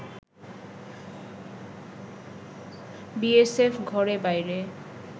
BSF ঘরে-বাইরে